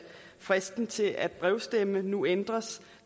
fristen til at brevstemme nu ændres